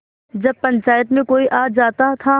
जब पंचायत में कोई आ जाता था